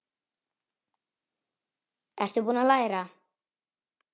Ertu búinn að læra?